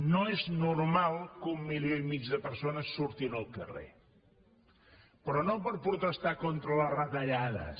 no és normal que un milió i mig de persones surtin al carrer però no per protestar contra les retallades